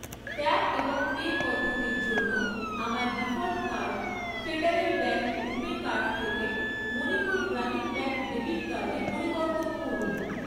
Tap এবং pay পদ্ধতির জন্য আমার default card Federal Bank RuPay card থেকে মণিপুর গ্রামীণ ব্যাঙ্ক ডেবিট কার্ডে পরিবর্তন করুন।